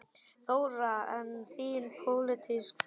Þóra: En þín pólitíska framtíð?